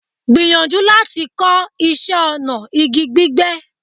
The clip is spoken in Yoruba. Gbìyànjú láti kọ́ iṣẹ́ ọnà igi gbígbẹ́.